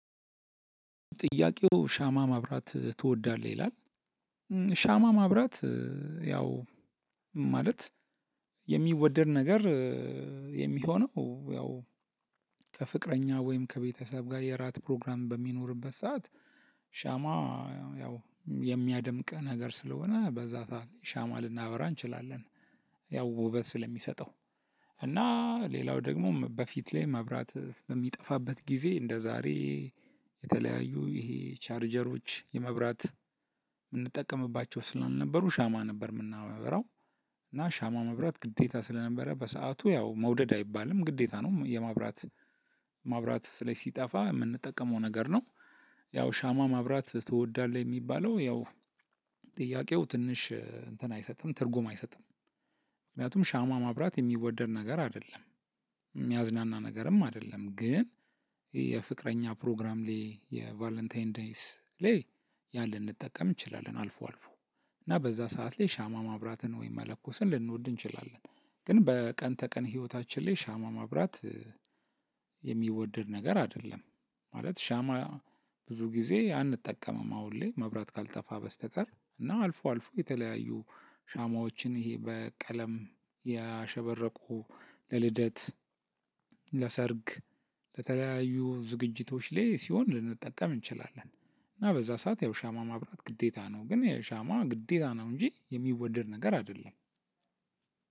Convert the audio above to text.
ጥያቄው ሻማ ማብራት ትወዳለህ ይላል? ሻማ ማብራት ያው ማለት የሚወደድ ነገር የሚሆነው ያው ከፍቅረኛ ወይም ከቤተሰብ ጋር የራት ፕሮግራም በሚኖርበት ሰዓት። ሻማ ያው የሚያደምቅ ነገር ስለሆነ በዛ ሰዓት ሻማ ልናበራ እንችላለን። ያው ውበት ስለሚሰጠው እና ሌላው ደግሞ በፊት ላይ መብራት በሚጠፋበት ጊዜ እንደዛሬ የተለያዩ ይሄ ቻርጀሮች የመብራት የምንጠቀምባቸው ስላልነበሩ ሻማ ነበር የምናበራው። እና ሻማ መብራት ግዴታ ስለነበረ በሰአቱ ያው መውደድ አይባልም ግዴታ ነው የማብራት ማብራት ስለሲጠፋ የምንጠቀመው ነገር ነው። ያው ሻማ ማብራት ትወዳለህ የሚባለው ያው ጥያቄው ትንሽ እንትን አይሰጥም ትርጉም አይሰጥም። ምክንያቱም ሻማ ማብራት የሚወደድ ነገር አይደለም የሚያዝናና ነገርም አይደለም ግን የፍቅረኛ ፕሮግራም ላይ የቫለንታይን ዴይስ ሌይ ያን ልንጠቀም እንችላለን አልፎ አልፎ እና በዛ ሰዓት ላይ ሻማ ማብራትን ወይም መለኮስን ልንወድ እንችላለን። ግን በቀን ተቀን ህይወታችን ላይ ሻማ ማብራት የሚወድድ ነገር አይደለም። ማለት ሻማ ብዙ ጊዜ አንጠቀምም አሁን ላይ መብራት ካልጠፋ በስተቀር እና አልፎ አልፎ የተለያዩ ሻማዎችን ይሄ በቀለም ያሸበረቁ ለልደት ለሰርግ ለተለያዩ ዝግጅቶች ላይ ሲሆን ልንጠቀም እንችላለን። እና በዛ ሰዓት ያው ሻማ ማብራት ግዴታ ነው ግን የሻማ ግዴታ ነው እንጂ የሚወደድ ነገር አይደለም።